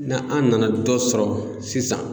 Na an nana dɔ sɔrɔ sisan